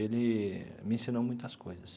Ele me ensinou muitas coisas.